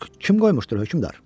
Bəs kim qoymuşdu hökmdar?